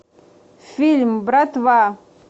фильм братва